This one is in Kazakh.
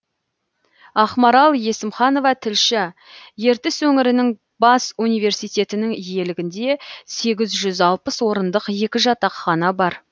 ақмарал есімханова тілші ертіс өңірінің бас университетінің иелігінде сегіз жүз алпыс орындық екі жатақхана бар